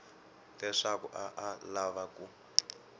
leswaku a a lava ku